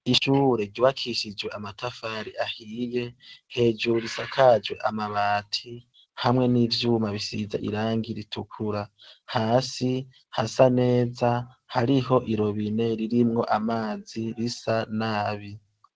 Inzu yubakishijwe amatafari ahiye hejuru isakajwe amabati hamwe nivyuma bisize irangi ritukura hasi hasa neza hariho irobine ririmwo amazi asa nabi